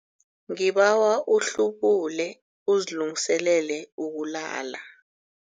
Ngibawa uhlubule uzilungiselele ukulala.